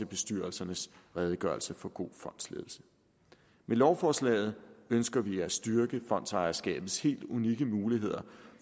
bestyrelsernes redegørelse for god fondsledelse med lovforslaget ønsker vi at styrke fondsejerskabets helt unikke muligheder